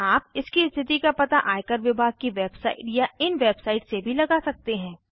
आप इसकी स्थिति का पता आय कर विभाग की वेबसाइट या इन वेबसाइट से भी लगा सकते हैं